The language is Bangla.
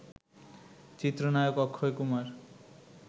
চিত্রনায়ক অক্ষয় কুমার